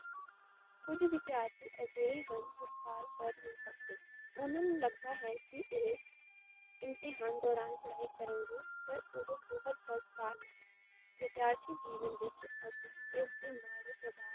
ਕੁਝ ਵਿਦਿਆਰਥੀ ਅਜੇਹੇ ਹਨ ਜੋ ਸਾਲ ਭਰ ਨੀ ਪੜ੍ਹਦੇ ਓੱਨਾਂ ਨੂੰ ਲੱਗਦਾ ਹੈ, ਕਿ ਇਹ ਇਮਤੇਹਾਨ ਦੋਰਾਨ ਪੜ੍ਹਾਈ ਕਰਨਗੇ ਪਰ ਓਹੋ ਬਹੁਤ ਗਲਤ ਧਾਰਨਾ ਹੈ, ਵਿਧੀਆਰਥੀ ਜੀਵਨ ਵਿੱਚ ਅਸੀ ਇਸ ਦੇ ਮਾੜੇ ਪ੍ਰਭਾਵ